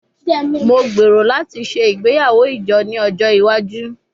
Mo gbero lati ṣe igbeyawo ijo ni ojo iwaju